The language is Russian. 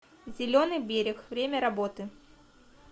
зеленый берег время работы